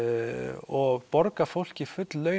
og borgað fólki full laun